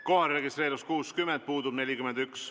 Kohalolijaks registreerus 60 liiget, puudub 41.